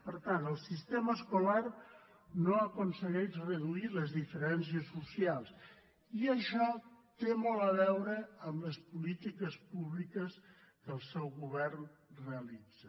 per tant el sistema escolar no aconsegueix reduir les diferències socials i això té molt a veure amb les polítiques públiques que el seu govern realitza